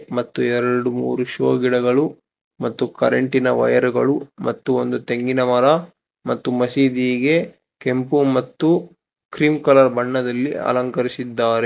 ಮತ್ತು ಎರಡು ಮೂರು ಶೋ ಗಿಡಗಳು ಮತ್ತು ಕರೆಂತಟಿನ ವೈಯರು ಗಳು ಮತ್ತು ಒಂದು ತೆಂಗಿನ ಮರ ಮತ್ತು ಮಸೀದಿಗೆ ಕೆಂಪು ಮತ್ತು ಕ್ರೀಂ ಕಲರ್ ಬಣ್ಣದಲ್ಲಿ ಅಲಂಕರಿಸಿದ್ದಾರೆ.